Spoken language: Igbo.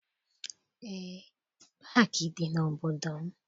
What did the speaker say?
Eé, paakị dị n'obodo m.